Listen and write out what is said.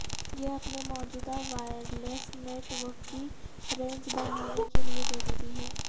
یہ اپنے موجودہ وائرلیس نیٹ ورک کی رینج بڑھانے کے لئے ضروری ہے